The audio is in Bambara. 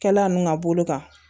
Kɛla ninnu ka bolo kan